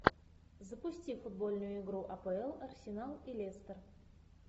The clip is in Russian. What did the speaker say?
запусти футбольную игру апл арсенал и лестер